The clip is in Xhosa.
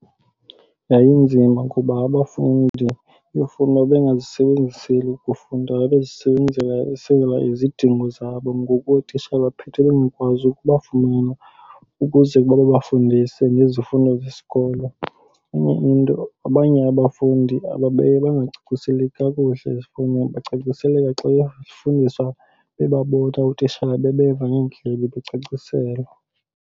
Yayinzima kuba abafundi iifowuni babengazisebenziseli ukufunda, babezisebenzisela izidingo zabo. Ngoku ootishala baphethe bengakwazi ukubafumana ukuze babafundise ngezifundo zesikolo. Enye into abanye abafundi babeye bangacaciseleki kakuhle ezifowunini bacaciseleke xa befundiswa bebabona ootishala, bebeva ngeendlebe, becaciselwa.